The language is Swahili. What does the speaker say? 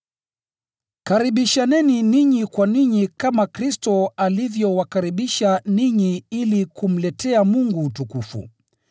Karibishaneni ninyi kwa ninyi kama Kristo alivyowakaribisha ninyi ili kumletea Mungu utukufu.